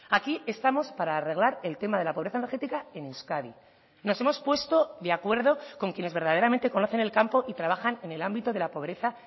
aquí estamos para arreglar el tema de la pobreza energética en euskadi nos hemos puesto de acuerdo con quienes verdaderamente conocen el campo y trabajan en el ámbito de la pobreza